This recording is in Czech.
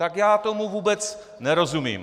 Tak já tomu vůbec nerozumím.